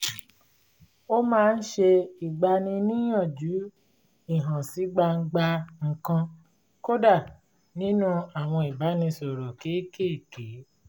ó máa ń ṣe ìgbaniníyànjú ìhànsígbangba nǹkan kódà nínú àwọn ìbánisọ̀rọ̀ kékèèké